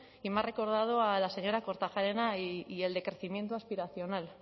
y me ha recordado a la señora kortajarena y el decrecimiento aspiracional